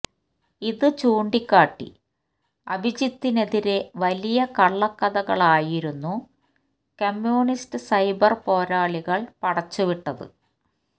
ഇത് ചൂണ്ടികാട്ടി അഭിജിത്തിനെതിരെ വലിയ കള്ളക്കഥകളായിരുന്നു കമ്മ്യൂണിസ്റ്റ് സൈബര് പോരാളികള് പടച്ചുവിട്ടത്